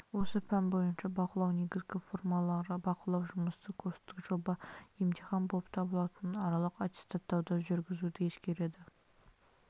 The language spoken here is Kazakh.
осы пән бойынша бақылау негізгі формалары бақылау жұмысы курстық жоба емтихан болып табылатын аралық аттестаттауды жүргізуді ескереді